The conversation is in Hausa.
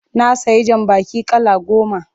Na sayi jambaki kala goma.